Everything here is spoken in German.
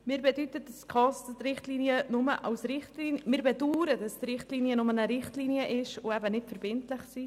Wir bedauern, dass die Richtlinien nur Richtlinien ohne verbindlichen Charakter sind.